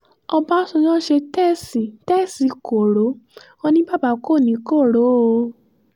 ọbànjọ́ ṣe tèèṣì tèèṣì koro wọn ní baba kò ní koro o